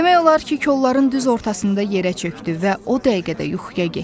Demək olar ki, kolların düz ortasında yerə çökdü və o dəqiqədə yuxuya getdi.